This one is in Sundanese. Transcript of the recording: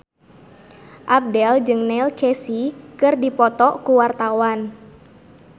Abdel jeung Neil Casey keur dipoto ku wartawan